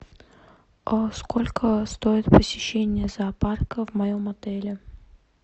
сколько стоит посещение зоопарка в моем отеле